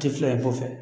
Tɛ filɛ kɔfɛ